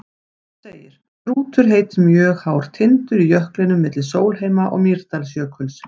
Hann segir: Strútur heitir mjög hár tindur í jöklinum milli Sólheima- og Mýrdalsjökuls.